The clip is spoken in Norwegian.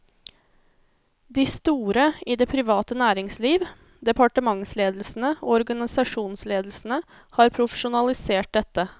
De store i det private næringsliv, departementsledelsene og organisasjonsledelsene har profesjonalisert dette.